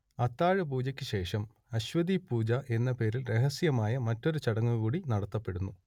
അത്താഴപൂജക്ക് ശേഷം അശ്വതീപൂജ എന്ന പേരിൽ രഹസ്യമായ മറ്റൊരു ചടങ്ങൂകൂടി നടത്തപ്പെടുന്നു